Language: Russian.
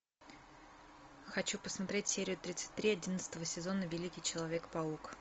хочу посмотреть серию тридцать три одиннадцатого сезона великий человек паук